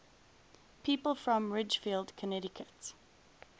people from ridgefield connecticut